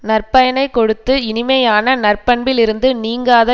நற்பயனைக் கொடுத்து இனிமையான நற்பண்பிலிருந்து நீங்காத